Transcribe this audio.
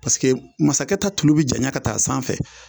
masakɛ ta tulu bɛ janya ka taa sanfɛ